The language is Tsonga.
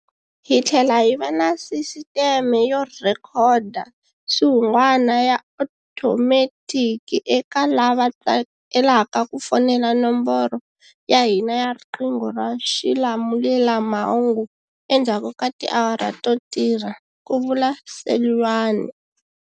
Hi tlhela hi va na sisiteme yo rhekhoda swihungwana ya otometiki eka lava tsakelaka ku fonela nomboro ya hina ya riqingho ra xilamulelamhangu endzhaku ka tiawara to tirha, ku vula Seloane.